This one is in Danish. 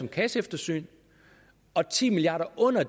kasseeftersynet og ti milliard kroner